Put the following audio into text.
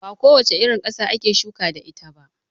Ba ko wace irin ƙasa ake shuka da ita ba.